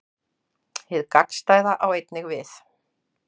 Hið gagnstæða á einnig við.